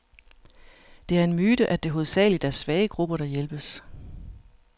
Det er en myte, at det hovedsageligt er svage grupper, der hjælpes.